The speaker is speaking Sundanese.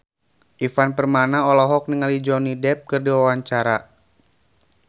Ivan Permana olohok ningali Johnny Depp keur diwawancara